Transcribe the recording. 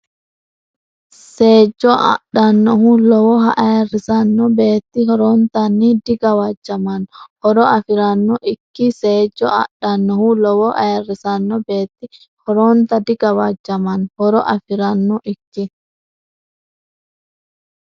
Seejjo adhannohu lowoha ayirrisanno beetti horontanni digawajjamanno horo afi’ranno ikki Seejjo adhannohu lowoha ayirrisanno beetti horontanni digawajjamanno horo afi’ranno ikki.